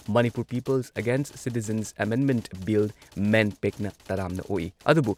Manipur people's against citizens amendment bill ꯃꯦꯟꯄꯦꯛꯅ ꯇꯔꯥꯝꯅ ꯑꯣꯛꯏ ꯑꯗꯨꯕꯨ